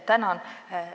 Tänan!